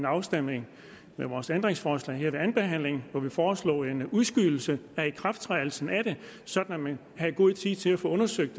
afstemningen om vores ændringsforslag her ved andenbehandlingen hvor vi foreslog en udskydelse af ikrafttrædelsen af det sådan at man havde god tid til at få undersøgt